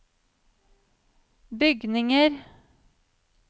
bygninger